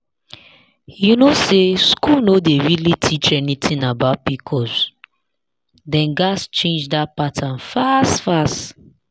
you know say school no dey really teach anything about pcos dem gats change that pattern fast fast.